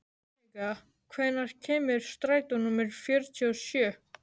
Jannika, hvenær kemur strætó númer fjörutíu og sjö?